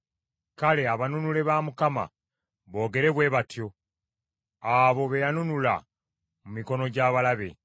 Kale abanunule ba Mukama boogere bwe batyo; abo be yanunula mu mikono gy’abalabe;